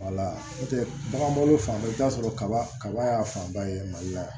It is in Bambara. n'o tɛ bagan bolo fan bɛɛ i bɛ t'a sɔrɔ kaba kaba y'a fan ba ye mali la yan